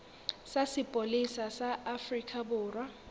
sa sepolesa sa afrika borwa